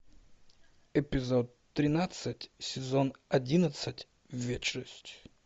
эпизод тринадцать сезон одиннадцать вечность